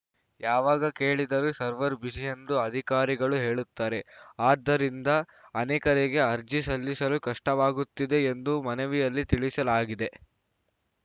ಯಾವಾಗ ಕೇಳಿದರೂ server busy ಎಂದು ಅಧಿಕಾರಿಗಳು ಹೇಳುತ್ತಾರೆ ಆದ್ದರಿಂದ ಅನೇಕರಿಗೆ ಅರ್ಜಿ ಸಲ್ಲಿಸಲು ಕಷ್ಟವಾಗುತ್ತಿದೆ ಎಂದು ಮನವಿಯಲ್ಲಿ ತಿಳಿಸಲಾಗಿದೆ